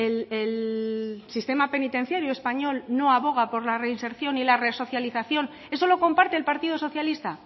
el sistema penitenciario español no aboga por la reinserción y la resocialización eso lo comparte el partido socialista